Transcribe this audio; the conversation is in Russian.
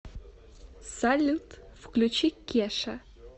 салют включи кеша